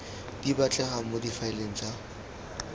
di batlegang mo difaeleng tsa